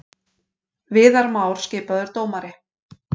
Viðar Már skipaður dómari